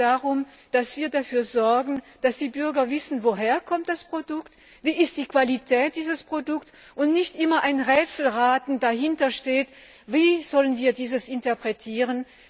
Es geht darum, dass wir dafür sorgen, dass die Bürger wissen, woher das Produkt kommt, wie die Qualität dieses Produkts ist, und dass nicht immer ein Rätselraten dahintersteht Wie sollen wir das interpretieren?